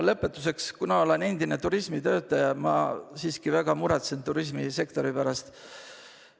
Lõpetuseks, kuna ma olen endine turismitöötaja, siis ma väga muretsen turismisektori pärast.